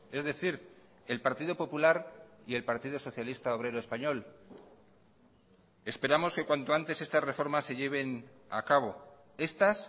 es decir el partido popular y el partido socialista obrero español esperamos que cuanto antes estas reformas se lleven a cabo estas